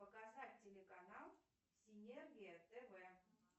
показать телеканал синергия тв